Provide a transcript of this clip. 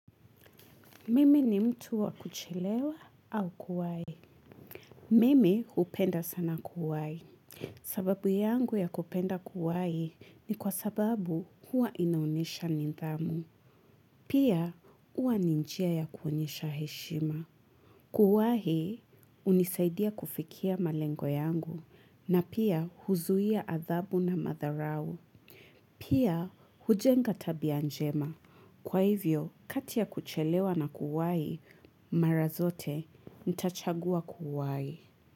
Mimi ni mtu wa kuchelewa au kuwai. Mimi hupenda sana kuwai. Sababu yangu ya kupenda kuwai ni kwa sababu hua inaonyesha nidhamu. Pia hua ni njia ya kuonyesha heshima. Kuwahi, hunisaidia kufikia malengo yangu na pia huzuia athabu na madharau. Pia hujenga tabia njema. Kwa hivyo, kati ya kuchelewa na kuwahi, mara zote, nitachagua kuwahi.